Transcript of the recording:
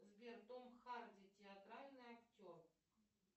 сбер том харди театральный актер